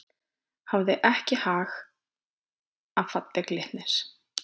Hafði ekki hag af falli Glitnis